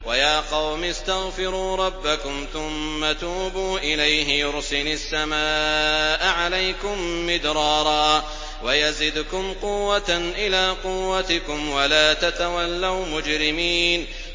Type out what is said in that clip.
وَيَا قَوْمِ اسْتَغْفِرُوا رَبَّكُمْ ثُمَّ تُوبُوا إِلَيْهِ يُرْسِلِ السَّمَاءَ عَلَيْكُم مِّدْرَارًا وَيَزِدْكُمْ قُوَّةً إِلَىٰ قُوَّتِكُمْ وَلَا تَتَوَلَّوْا مُجْرِمِينَ